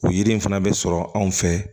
O yiri in fana bɛ sɔrɔ anw fɛ